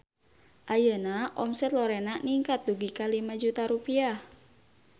Ayeuna omset Lorena ningkat dugi ka 5 juta rupiah